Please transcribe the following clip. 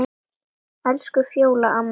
Elsku Fjóla amma mín.